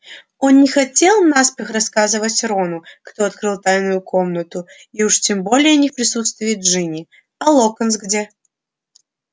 он не хотел наспех рассказывать рону кто открыл тайную комнату и уж тем более не в присутствии джинни а локонс где